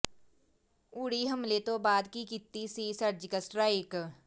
ਉੜੀ ਹਮਲੇ ਤੋਂ ਬਾਅਦ ਹੀ ਕੀਤੀ ਸੀ ਸਰਜੀਕਲ ਸਟਰਾਈਕ